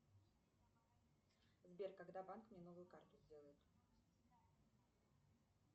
сбер когда банк мне новую карту сделает